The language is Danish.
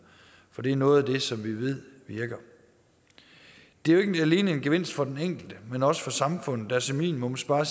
for det er noget af det som vi ved virker det er jo ikke alene en gevinst for den enkelte men også for samfundet der som minimum sparer